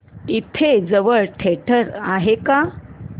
इथे जवळ थिएटर आहे का